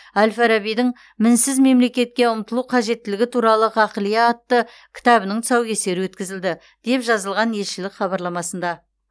әл фарабидің мінсіз мемлекетке ұмтылу қажеттілігі туралы ғақлия атты кітабының тұсаукесері өткізілді деп жазылған елшілік хабарламасында